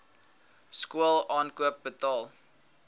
skool aankoop betaal